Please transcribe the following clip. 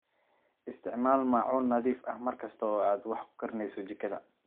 Isticmaal maacuun nadiif ah mar kasta oo aad wax ku karinayso jikada.